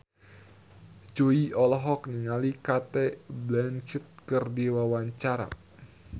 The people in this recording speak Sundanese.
Jui olohok ningali Cate Blanchett keur diwawancara